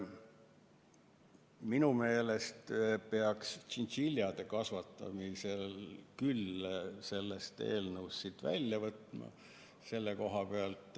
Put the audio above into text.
Minu meelest peaks tšintšiljade kasvatamise sellest eelnõust välja võtma.